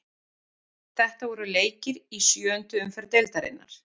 Þetta voru leikir í sjöundu umferð deildarinnar.